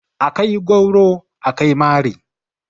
A kai gwauro, a kai mari.